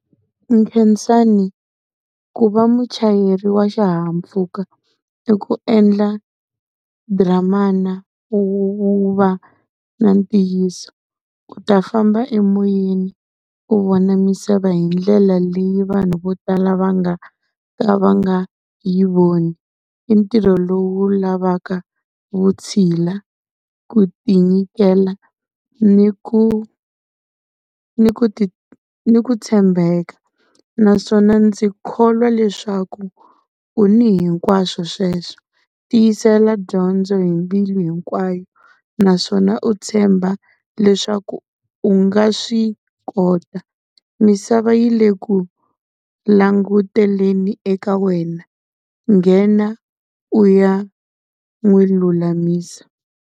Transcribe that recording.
Khensani ku va muchayeri wa xihahampfhuka i ku endla dramana, u u va na ntiyiso. U ta famba emoyeni u vona misava hi ndlela leyi vanhu vo tala va nga ka va nga yi voni. I ntirho lowu lavaka vutshila, ku tinyikela, ni ku ni ku ni ku tshembeka. Naswona ndzi kholwa leswaku u ni hinkwaswo sweswo, tiyisela dyondzo hi mbilu hinkwayo naswona u tshemba leswaku u nga swi kota. Misava yi le ku languteleni eka wena nghena u ya n'wi lulamisa.